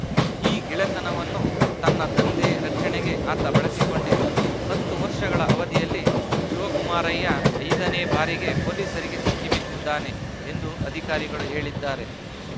ಈ ಗೆಳೆತನವನ್ನು ತನ್ನ ದಂಧೆ ರಕ್ಷಣೆಗೆ ಆತ ಬಳಸಿಕೊಂಡಿದ್ದ ಹತ್ತು ವರ್ಷಗಳ ಅವಧಿಯಲ್ಲಿ ಶಿವಕುಮಾರಯ್ಯ ಐದ ನೇ ಬಾರಿಗೆ ಪೊಲೀಸರಿಗೆ ಸಿಕ್ಕಿಬಿದ್ದಿದ್ದಾನೆ ಎಂದು ಅಧಿಕಾರಿಗಳು ಹೇಳಿದ್ದಾರೆ